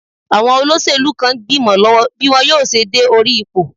Àwọn olóṣèlú kan ń gbìmọ lọ́wọ́ bí wọn yóò ṣe dé orí ipò.